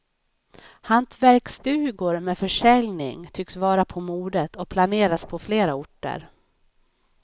Hantverksstugor med försäljning tycks vara på modet och planeras på flera orter.